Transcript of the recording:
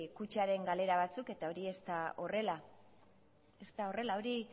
kutxaren galera batzuk eta hori ez da horrela hori